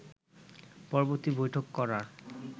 পরবর্তী বৈঠক করার